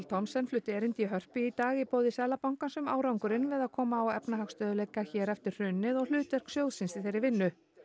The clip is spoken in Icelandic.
Thomsen flutti erindi í Hörpu í dag í boði Seðlabankans um árangurinn við að koma á efnahagsstöðugleika hér eftir hrunið og hlutverk sjóðsins í þeirri vinnu